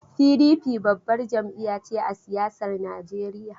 PDP babbar jam'iya ce a siyasar Najeriya.